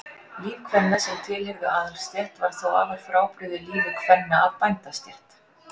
líf kvenna sem tilheyrðu aðalsstétt var þó afar frábrugðið lífi kvenna af bændastétt